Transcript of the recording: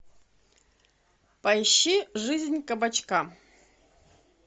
поищи жизнь кабачка